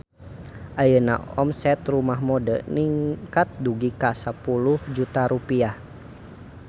Ayeuna omset Rumah Mode ningkat dugi ka 10 juta rupiah